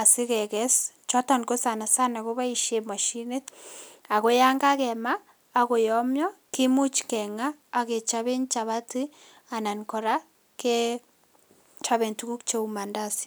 asikekes, choton ko sana sana keboisien moshinit .Ago yan kakema ak koyomio kimuch keng'a ak kechoben chapati anan kora kechoben tuguk cheu mandazi.